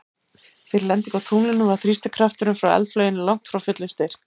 Fyrir lendingu á tunglinu var þrýstikrafturinn frá eldflauginni langt frá fullum styrk.